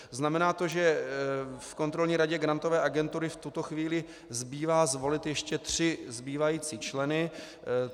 Znamená to, že v Kontrolní radě Grantové agentury v tuto chvíli zbývá zvolit ještě tři zbývající členy.